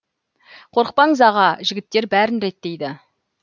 қорықпаңыз аға жігіттер бәрін реттейді